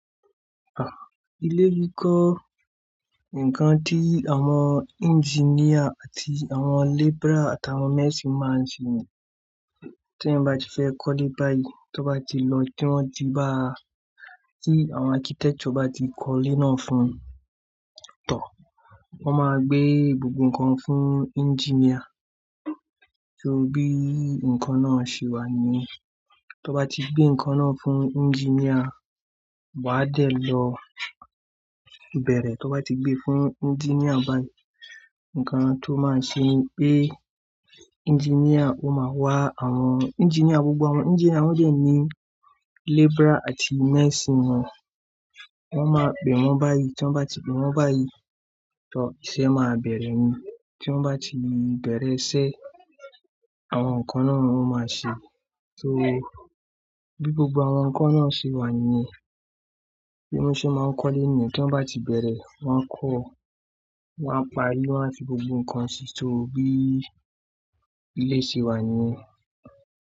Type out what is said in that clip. Ilé kíkọ, nǹkan tí àwọn engineer àti àwọn labourer àti àwọn mixing máa ń ṣe ni. Tí èèyàn bá ti fẹ́ kọ́ lé báyìí, to bá ti lọ, tí wọ́n ti ba, tí àwọn architect bá ti kọ́ lé náà fún tọ. Wọ́n máa gbé gbogbo ǹkan fún engineer. So bí nǹkan náà ṣe wà ni yẹn. Tó bá ti gbé nǹkan náà fún engineer, wá á dẹ̀ lọ bẹ̀rẹ̀. To bá ti gbé fún engineer báyìí, ǹkan tó máa ṣe ni pé engineer ó máa wá àwọn engineer gbogbo àwọn engineer wọ́n dẹ̀ ní labourer àti mens naa. Wọ́n máa pẹ̀ wọ́n báyìí. Tí wọ́n bá ti pẹ̀ wọ́n báyìí tọ, iṣẹ́ máa bẹ̀rẹ̀ ni. Tí wọ́n bá ti bẹ̀rẹ̀ iṣẹ́, àwọn ǹkan náà ni wọ́n máa ṣe. So bí gbogbo àwọn ǹkan náà ṣe wà ni yẹn. Bí wọ́n ṣe máa ń kọ́ lé nìyẹn, tí wọ́n bá ti bẹ̀rẹ̀, wọ́n á kọ́, wọ́n á parí, wọ́n á fi gbogbo ǹkan sí i. So bí ilé yi ṣe wà ni.